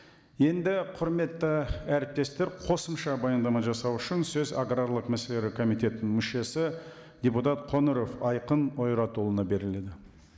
енді құрметті әріптестер қосымша баяндама жасау үшін сөз аграрлық мәселелер комитетінің мүшесі депутат қоңыров айқын ойратұлына беріледі